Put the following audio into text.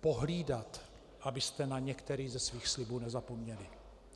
pohlídat, abyste na některý ze svých slibů nezapomněli.